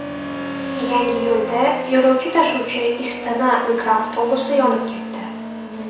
Yangiyo‘lda yo‘lovchi tashuvchi Istana mikroavtobusi yonib ketdi.